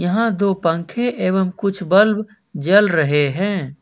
यहां दो पंखे एवं कुछ बल्ब जल रहे हैं।